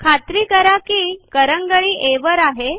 खात्री करा की करंगळी आ वर आहे